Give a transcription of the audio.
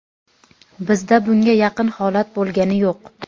Bizda bunga yaqin holat bo‘lgani yo‘q.